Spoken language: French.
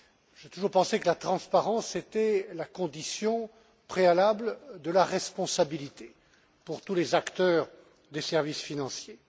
J'ai toujours pensé que la transparence était la condition préalable de la responsabilité pour tous les acteurs des services financiers.